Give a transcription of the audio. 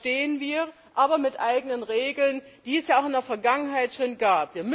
Dazu stehen wir, aber mit eigenen Regeln, die es ja auch in der Vergangenheit schon gab.